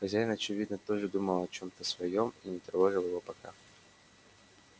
хозяин очевидно тоже думал о чем-то своём и не тревожил его пока